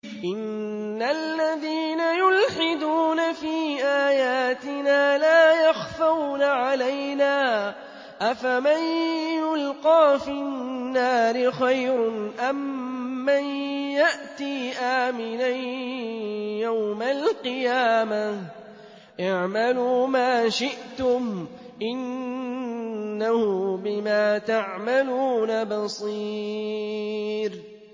إِنَّ الَّذِينَ يُلْحِدُونَ فِي آيَاتِنَا لَا يَخْفَوْنَ عَلَيْنَا ۗ أَفَمَن يُلْقَىٰ فِي النَّارِ خَيْرٌ أَم مَّن يَأْتِي آمِنًا يَوْمَ الْقِيَامَةِ ۚ اعْمَلُوا مَا شِئْتُمْ ۖ إِنَّهُ بِمَا تَعْمَلُونَ بَصِيرٌ